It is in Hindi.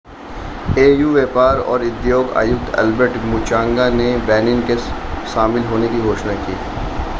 एयू व्यापार और उद्योग आयुक्त अल्बर्ट मुचांगा ने बेनिन के शामिल होने की घोषणा की